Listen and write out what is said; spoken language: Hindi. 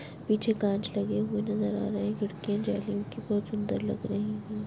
पीछे कांच लगे हुए नज़र आ रहे हैं खिड़कियाँ जालियों की बहोत सुन्दर लग रही हैं।